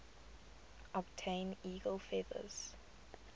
obtain eagle feathers